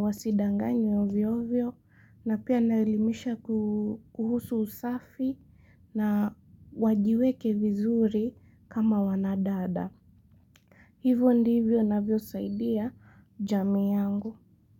wasidanganywe ovyo vyo. Na pia ninawaelimisha kuhusu usafi na wajiweke vizuri kama wanadada. Hivyo ndivyo navyosaidaa jamii yangu.